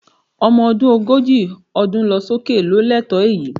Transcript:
Ọmọ ọdún ogójì ọdún lọ sókè ló lẹ́tọ̀ọ́ èyí